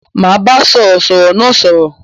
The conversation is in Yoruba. Ma bá sọ̀rọ̀ sọ̀rọ̀ náà sọ̀rọ̀